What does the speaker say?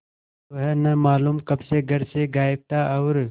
वह न मालूम कब से घर से गायब था और